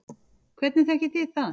Hvernig þekkið þið það?